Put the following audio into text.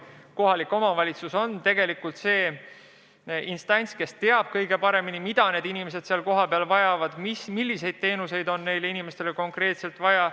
Kohalik omavalitsus on tegelikult see instants, kes teab kõige paremini, mida inimesed kohapeal vajavad, milliseid teenuseid on neile inimestele konkreetselt vaja.